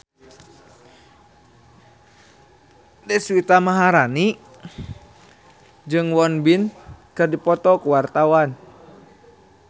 Deswita Maharani jeung Won Bin keur dipoto ku wartawan